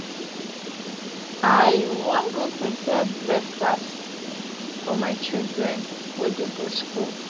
i wan go prepare breakfast for my children wey dey go skool